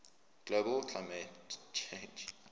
global climate change